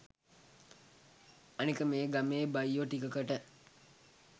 අනෙක මේ ගමේ බයියො ටිකකට